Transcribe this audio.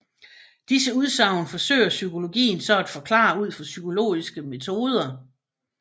Disse udsagn forsøger psykologien så at forklare ud fra psykologiske metoder